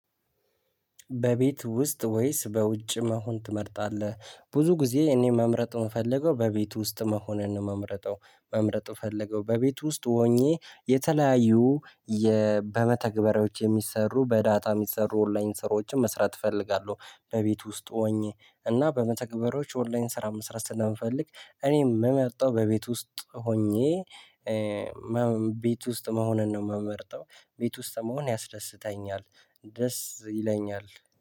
በቤት ውስጥ ወይስ በውጭ መሆን ትመርጣለህ? ብዙ ጊዜ እኔ መምረጥ የምፈልገው በቤት ውስጥ መሆንን ነው መምረጠው መምረጥ ምፈልገው በቤቱ ውስጥ ሆኜ የተለያዩ በመተግበሪያዎች የሚሰሩ በዳታ የሚሰሩ ኦንላይን ስራዎችን መስራት እፈልጋለሁ። በቤት ውስጥ ሆኜ እና በመተግበሮች ኦንላይን ስራ መስራት ስለምፈልግ እኔም የምመርጠው በቤት ውስጥ ሆኜ ቤት ውስጥ መሆንን ነው የምመርጠው። ቤት ውስጥ መሆን ያስደስተኛል። ደስ ይለኛል